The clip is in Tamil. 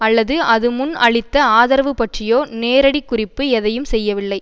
அல்லது அது முன் அளித்த ஆதரவுபற்றியோ நேரடிக்குறிப்பு எதையும் செய்யவில்லை